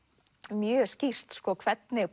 mjög skýrt hvernig